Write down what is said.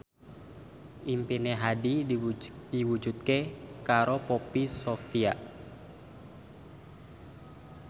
impine Hadi diwujudke karo Poppy Sovia